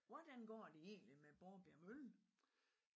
Hvordan går det egentlig med Borbjerg mølle?